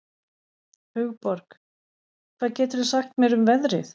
Hugborg, hvað geturðu sagt mér um veðrið?